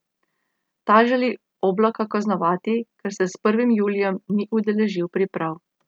Ta želi Oblaka kaznovati, ker se s prvim julijem ni udeležil priprav.